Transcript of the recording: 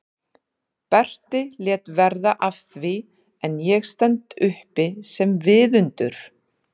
Berti lét verða af því en ég stend uppi sem viðundur?